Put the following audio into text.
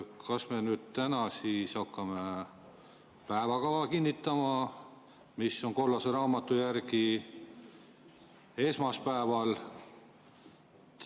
Kas me täna hakkame päevakava kinnitama, mida kollase raamatu järgi peaks tegema esmaspäeval?